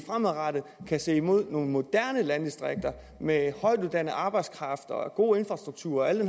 kan se frem mod nogle moderne landdistrikter med højtuddannet arbejdskraft god infrastruktur og alle